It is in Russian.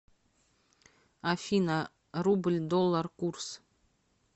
афина рубль доллар курс